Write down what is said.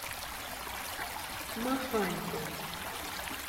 маханько